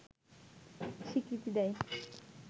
স্বীকৃতি দেয়